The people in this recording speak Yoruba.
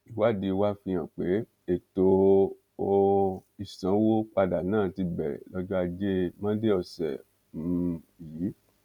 ìwádìí wa fihàn pé ètò um ìsanwó padà náà ti bẹrẹ lọjọ ajé monde ọsẹ um yìí